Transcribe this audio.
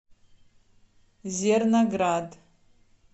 зерноград